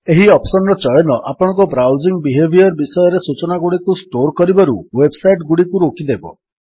ଏହି ଅପ୍ସନ୍ ର ଚୟନ ଆପଣଙ୍କ ବ୍ରାଉଜିଙ୍ଗ୍ ବିହେଭିଅର୍ ବିଷୟରେ ସୂଚନାଗୁଡ଼ିକୁ ଷ୍ଟୋର୍ କରିବାରୁ ୱେବ୍ ସାଇଟ୍ ଗୁଡ଼ିକୁ ରୋକିଦେବ